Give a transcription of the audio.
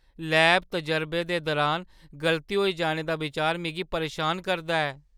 Lab तजरबे दे दुरान गलती होई जाने दा बिचार मिगी परेशान करदा ऐ।